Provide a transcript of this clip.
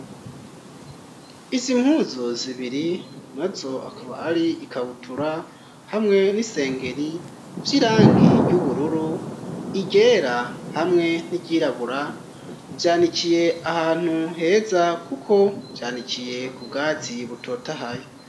Izi mpuzu zibiri nazo akaba ari ikabutura hamwe n'isengeri vy'irangi ry'ubururu iryera hamwe n'iryirabura vyanikiye ahantu heza kuko vyanikiye ku bwatsi butotahaye